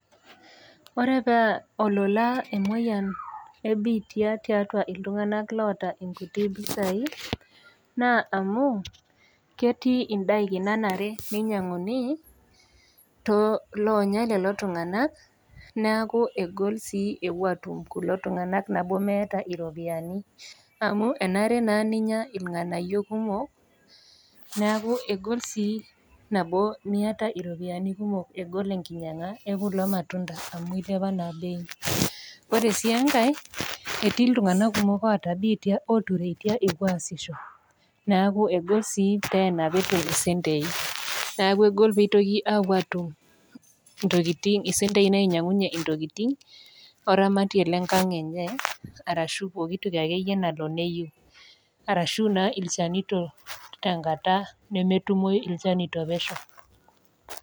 Ore paa olola emoyian e biitia tiatua iltung'ana oata inkuti pisai, naa amu ketii indaikin nanare peinyanguni, too iloonya lelo tung'ana neaku egol sii ewuo aatum lelo tung'ana meata iropiani. Amu enare naa ninya ilg'anayio kumok neaku egol sii nabo Miata iropiani kumok amu egol enkinyanga e kulo matunda amu eilepa naa bei. Ore sii enkai etii iltung'ana oata biitia ootureita epuo aasisho neaku egol sii teena petum isentei, neaku egol peetum isentei nainyang'unye intokitin oramatie le enkang' enye, arashu pooki toki ake iyie nayiou arashu naa ilchanito te enkata netumoi ilchanito pesho.